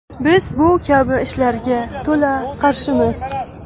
Biz bu kabi ishlarga to‘la qarshimiz.